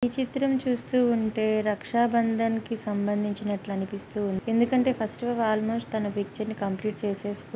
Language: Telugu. ఈ చిత్రం చూస్తూ ఉంటే రక్షాబంధన్ కి సంబంధించినట్లనిపిస్తూ ఉంది. ఎందుకంటే ఫస్ట్ ఆఫ్ అల్ ఆల్మోస్ట్ తన పిక్చర్ ని-- కంప్లీట్ చేసే --